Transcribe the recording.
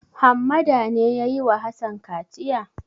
Hammada ne ya yi wa Hassan kaciya?